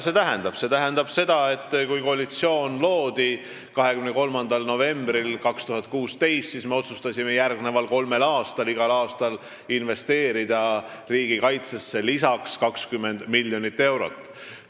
See tähendab, et kui koalitsioon 23. novembril 2016 loodi, siis me otsustasime igal järgmisel kolmel aastal investeerida riigikaitsesse lisaks 20 miljonit eurot.